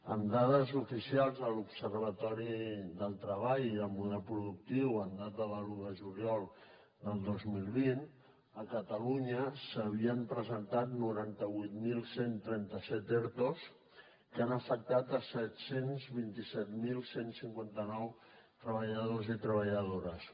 amb dades oficials de l’observatori del treball i model productiu amb data de l’un de juliol del dos mil vint a catalunya s’havien presentat noranta vuit mil cent i trenta set ertos que han afectat set cents i vint set mil cent i cinquanta nou treballadors i treballadores